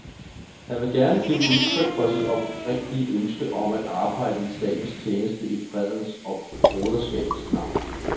Han vil gerne give udtryk for sit oprigtige ønske om at arbejde i statens tjeneste i fredens og broderskabets navn.